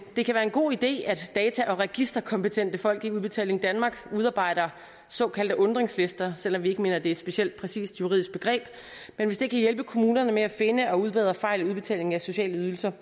det kan være en god idé at data og registerkompetente folk i udbetaling danmark udarbejder såkaldte undringslister selv om vi ikke mener det er et specielt præcist juridisk begreb men hvis det kan hjælpe kommunerne med at finde og udbedre fejl i udbetalingen af sociale ydelser